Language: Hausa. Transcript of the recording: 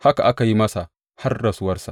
Haka aka yi masa har rasuwarsa.